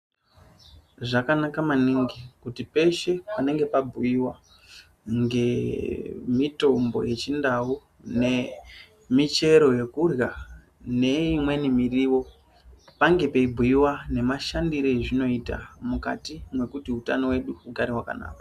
Zvakanaka maningi kuti peshe panenge pabhuiwa ngemutombo yechindau nemichero yekudya neimweni muriwo pange peibhuiwa nemashandire azvinoita mukati mekuti utano wedu ugare wakanaka.